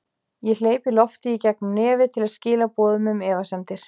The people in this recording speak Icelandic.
Ég hleypi lofti í gegn um nefið til að skila boðum um efasemdir.